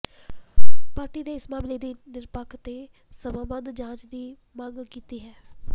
party ਨੇ ਇਸ ਮਾਮਲੇ ਦੀ ਨਿਰਪੱਖ ਤੇ ਸਮਾਂਬੱਧ ਜਾਂਚ ਦੀ ਮੰਗ ਕੀਤੀ ਹੈ